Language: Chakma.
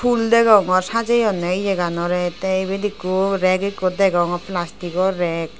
fhul degongor sajeyonney yeganorey tey ibet ikko rek ikko degongor plastiko rek .